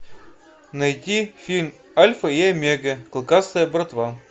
найти фильм альфа и омега клыкастая братва